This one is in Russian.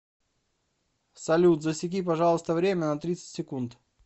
салют засеки пожалуйста время на тридцать секунд